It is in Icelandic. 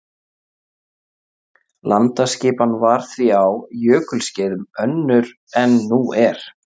Landaskipan var því á jökulskeiðum önnur en nú er.